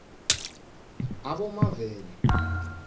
abomavela